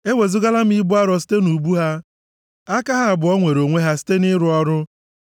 “Ewezugala m ibu arọ site nʼubu ha; aka ha abụọ nwere onwe ha site nʼịrụ ọrụ.